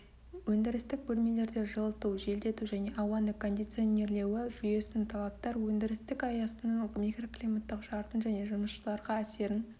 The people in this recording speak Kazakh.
өндірістік бөлмелерде жылыту желдету және ауаның кондиционирлеуі жүйесіне талаптар өндірістік аясының микроклиматтық шартын және жұмысшыларға әсерін